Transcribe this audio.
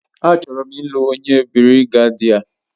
A chọrọ m ị́lu onye birigedia